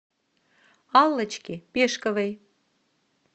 аллочке пешковой